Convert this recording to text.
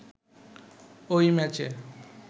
ওই ম্যাচে